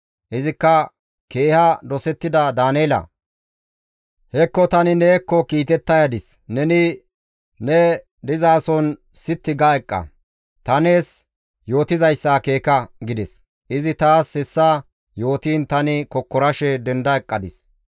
Izikka, «Keeha dosettida Daaneela! Hekko tani neekko kiitetta yadis; neni ne dizason sitti ga eqqa; ta nees yootizayssa akeeka!» gides. Izi taas hessa yootiin tani kokkorashe denda eqqadis.